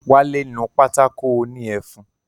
Wálé nu pátákó òní ẹfun